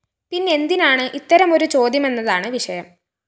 പിന്നെന്തിനാണ് ഇത്തരമൊരു ചോദ്യമെന്നതാണ് വിഷയം